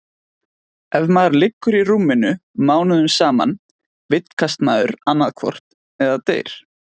Ef maður liggur í rúminu mánuðum saman vitkast maður annaðhvort eða deyr.